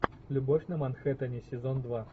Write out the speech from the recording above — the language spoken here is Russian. любовь на манхеттене сезон два